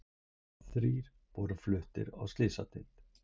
Þrír voru fluttir á slysadeild